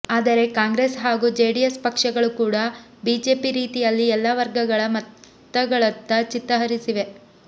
ಆದರೆ ಕಾಂಗ್ರೆಸ್ ಹಾಗೂ ಜೆಡಿಎಸ್ ಪಕ್ಷಗಳು ಕೂಡ ಬಿಜೆಪಿ ರೀತಿಯಲ್ಲಿ ಎಲ್ಲ ವರ್ಗಗಳ ಮತಗಳತ್ತ ಚಿತ್ತ ಹರಿಸಿವೆ